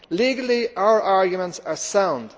Legally, our arguments are sound.